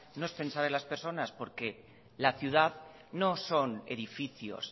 no es pensar en las personas porque la ciudad no son edificios